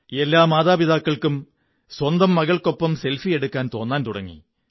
എല്ലാ മാതാപിതാക്കള്ക്കും സ്വന്തം മകള്ക്കൊ പ്പം സെല്ഫിി എടുക്കാൻ തോന്നാൻ തുടങ്ങി